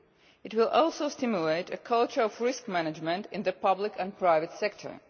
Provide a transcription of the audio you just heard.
It will also stimulate a culture of risk management in the public and private sector.